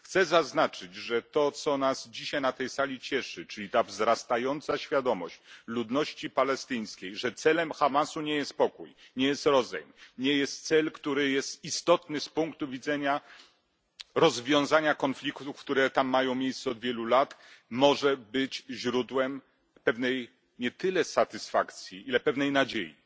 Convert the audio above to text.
Chcę zaznaczyć, że to, co nas dzisiaj na tej sali cieszy, czyli ta wzrastająca świadomość ludności palestyńskiej, że celem Hamasu nie jest pokój, nie jest rozejm, nie jest to cel, który jest istotny z punktu widzenia rozwiązania konfliktów, które tam mają miejsce od wielu lat, ale może być źródłem pewnej nie tyle satysfakcji, ile pewnej nadziei.